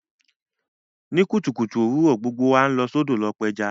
Ní kùtùkùtù òwurọ̀, gbogbo wa n lọ sódò lo pẹja